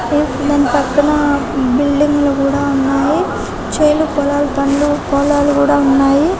దాని పక్కన బిల్డింగులు కూడా ఉన్నాయి చేను పొలాలు పండ్లు పొలాలు కూడా ఉన్నాయి